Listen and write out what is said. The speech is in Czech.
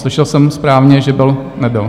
Slyšel jsem správně, že byl... nebyl?